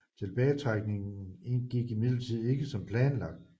Tilbagetrækningen gik imidlertid ikke som planlagt